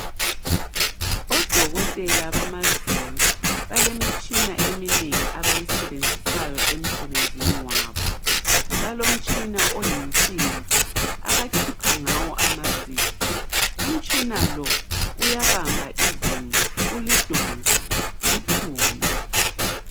Odokotela bamazinyo balemitshina eminengi abayisebenzisayo emsebenzini wabo. Balomtshina oyinsimbi abakhipha ngawo amazinyo. Umtshina lo uyabamba izinyo ulidonse liphume